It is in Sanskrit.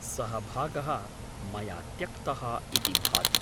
सः भागः मया त्यक्तः इति भाति।